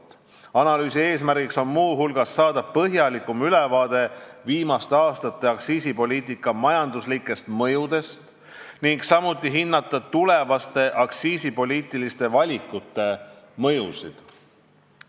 Muu hulgas on analüüsi eesmärk saada põhjalikum ülevaade viimaste aastate aktsiisipoliitika majanduslikest mõjudest ning samuti hinnata tulevaste aktsiisipoliitiliste valikute mõjusid.